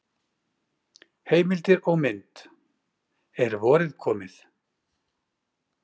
Heimildir og mynd: Er vorið komið?